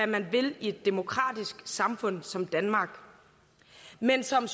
man vil i et demokratisk samfund som danmark men som